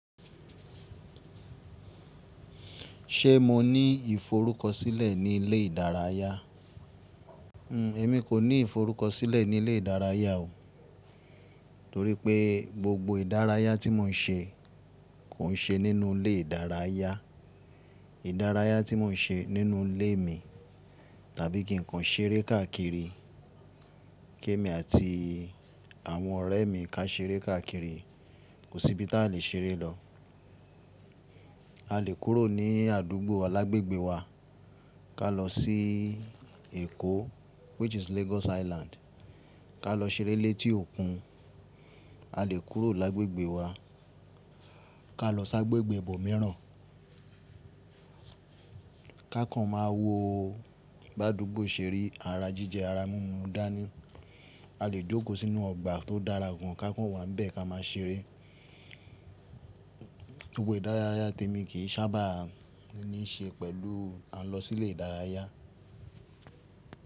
Ṣé mo ní ìforúkọsílẹ̀ ní ilé ìdárayá? Èmi kò ní ìforúkọsílẹ̀ ní ilé ìdárayá o. Torí pé gbogbo ìdárayá tí mò ń ṣe kò ń ṣe nínú ilé ìdárayá. Ìdárayá tí mò ń ṣe nínú ilé mi, tàbí kí ǹ kan ṣeré káàkiri, kí èmi àti àwọn ọ̀rẹ́ mi ká ṣeré káàkiri. Kò sí ibi tí a lè ṣeré lọ. A lè kúrò ní àdúgbò lágbègbè wa ká lọ sí Èkó which is Lagos Highland ká lọ ṣeré létí òkun. A lè kúrò lágbègbè wa, ká lọ s'ágbègbè ibọ mìíràn, ká kàn máa wo bí àdúgbò ṣe rí, ara jíjẹ ara mínú dání. A lè jókòó sínú ọgbà tó dára gan ká kàn wà n bẹ́ ká máa ṣeré. Gbogbo ìdárayá tèmi kì í sábà ní ṣe pẹ̀lú à ń lọ sí ilé ìdárayá.